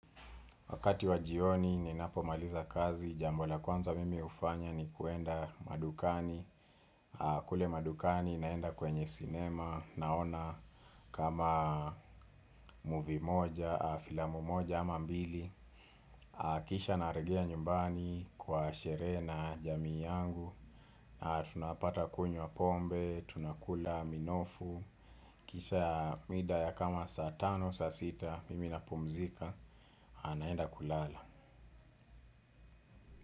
Wakati wa jioni ninapomaliza kazi, jambo la kwanza mimi hufanya ni kuenda madukani. Kule madukani naenda kwenye sinema, naona kama movie moja, filamu moja ama mbili. Kisha narejea nyumbani kwa sherehe na jamii yangu. Tunapata kunywa pombe, tunakula minofu. Kisha mida ya kama saa tano, saa sita mimi napumzika, naenda kulala.